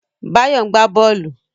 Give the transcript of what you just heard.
Báyọ̀ ń gbá bọ́ọ̀lù